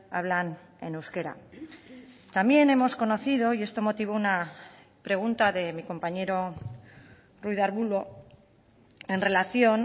hablan en euskera también hemos conocido y esto motivó una pregunta de mi compañero ruiz de arbulo en relación